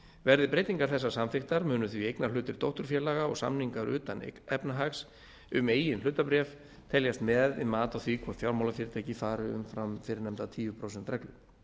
verði breytingar þessar samþykktar munu því eignarhlutur dótturfélaga og samningar utan efnahags um eigin hlutabréf teljast með við mat á því hvort fjármálafyrirtæki fari umfram fyrrnefnda tíu prósent reglu